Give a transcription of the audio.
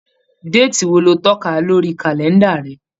Déètì wo lo tọ́ka lórí kàlẹ́ǹdà rẹ?